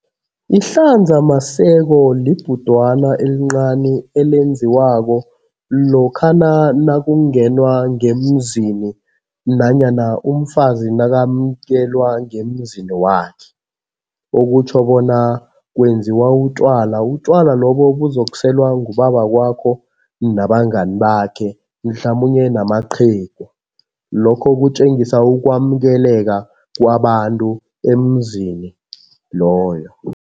Ihlanzamaseko libhudwana elincani elenziwako lokha nakungenwa ngemzini nanyana umfazi nakamukelwa ngemzini wakhe. Okutjho bona kwenziwa utjwala. Utjwala lobo buzokuselwa ngubaba wakwakho nabangani bakhe mhlamunye namaqhegu. Lokho kutjengisa ukwamukeleka kwabantu emzini loyo.